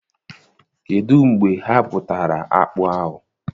Kedụ mgbe ha bụtara akpụ ahụ?